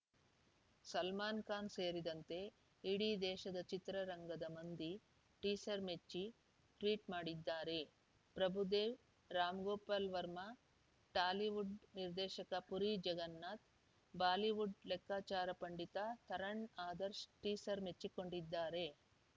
ಸಲ್ಮಾನ್‌ ಖಾನ್‌ ಸೇರಿದಂತೆ ಇಡೀ ದೇಶದ ಚಿತ್ರರಂಗದ ಮಂದಿ ಟೀಸರ್‌ ಮೆಚ್ಚಿ ಟ್ವೀಟ್‌ ಮಾಡಿದ್ದಾರೆ ಪ್ರಭುದೇವ ರಾಮ್‌ಗೋಪಾಲ್‌ ವರ್ಮಾ ಟಾಲಿವುಡ್‌ ನಿರ್ದೇಶಕ ಪುರಿ ಜಗನ್ನಾಥ್‌ ಬಾಲಿವುಡ್‌ ಲೆಕ್ಕಾಚಾರ ಪಂಡಿತ ತರಣ್‌ ಆದರ್ಶ್ ಟೀಸರ್‌ ಮೆಚ್ಚಿಕೊಂಡಿದ್ದಾರೆ